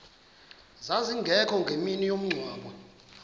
zazingekho ngemini yomngcwabo